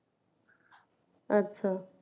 আচ্ছা